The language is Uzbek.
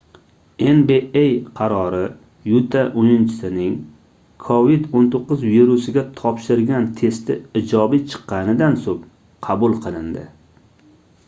nba qarori yuta oʻyinchisining covid-19 virusiga topshirgan testi ijobiy chiqqanidan soʻng qabul qilindi